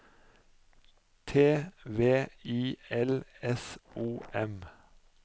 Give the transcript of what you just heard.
T V I L S O M